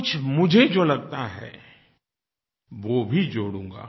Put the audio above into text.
कुछ मुझे जो लगता है वो भी जोड़ूंगा